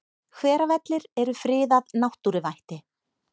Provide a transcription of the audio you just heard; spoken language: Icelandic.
Hveravellir eru friðað náttúruvætti.